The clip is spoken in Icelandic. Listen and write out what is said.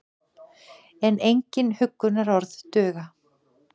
En engin huggunarorð duga.